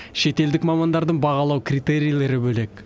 шетелдік мамандардың бағалау критерийлері бөлек